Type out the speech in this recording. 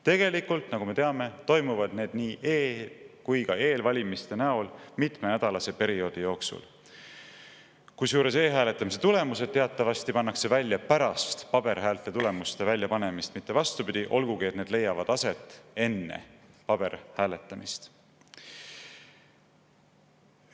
Tegelikult, nagu me teame, toimuvad need nii e- kui ka eelvalimiste näol mitmenädalase perioodi jooksul, kusjuures e-hääletamise tulemused teatavasti pannakse välja pärast paberhäälte tulemuste väljapanemist, mitte vastupidi, olgugi et see hääletamine leiab aset enne paberhääletamist.